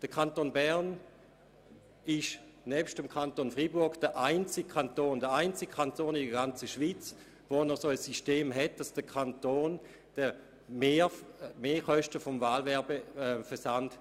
Nur in den Kantonen Bern und Freiburg vergütet der Kanton den Gemeinden die Mehrkosten für den Wahlwerbeversand.